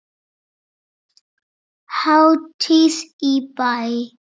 Hátíð í bæ